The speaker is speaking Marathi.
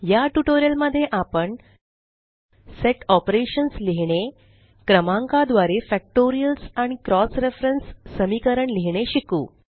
या ट्यूटोरियल मध्ये आपण सेट ऑपरेशन्स लिहीणे क्रमांका द्वारे फॅक्टोरियल्स आणि क्रॉस रेफरन्स समीकरण लिहीणे शिकू